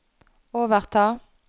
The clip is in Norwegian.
overta